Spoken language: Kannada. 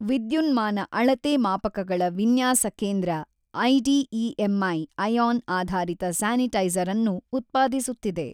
ವಿದ್ಯುನ್ಮಾನ ಅಳತೆ ಮಾಪಕಗಳ ವಿನ್ಯಾಸ ಕೇಂದ್ರ ಐಡಿಇಎಂಐ ಐಯಾನ್ ಆಧಾರಿತ ಸ್ಯಾನಿಟೈಸರ್ ಅನ್ನು ಉತ್ಪಾದಿಸುತ್ತಿದೆ.